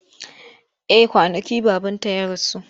Eh kwanaki babanta ya rasu.